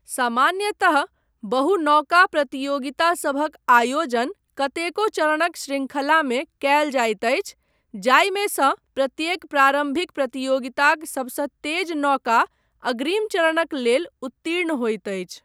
सामान्यतः बहु नौका प्रतियोगितासभक आयोजन कतेको चरणक शृंखलामे कयल जाइत अछि जाहिमेसँ प्रत्येक प्रारम्भिक प्रतियोगिताक सबसँ तेज नौका अग्रिम चरणक लेल उत्तीर्ण होइत अछि।